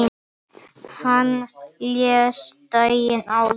Hann lést daginn áður.